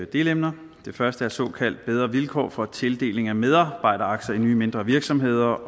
delemner det første er såkaldt bedre vilkår for tildeling af medarbejderaktier i nye mindre virksomheder